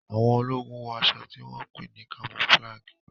Àwọn ológun wọ aṣọ tí wón pé ní camouflage.